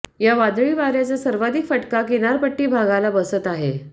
या वादळी वाऱ्याचा सर्वाधिक फटका किनारपट्टी भागाला बसत आहे